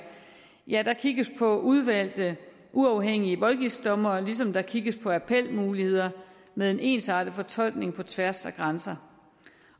ja der kigges på udvalgte uafhængige voldgiftsdommere ligesom der kigges på appelmuligheder med en ensartet fortolkning på tværs af grænser